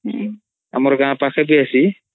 ଆମର୍ ଗାଁ ପାଖକେ ଆସି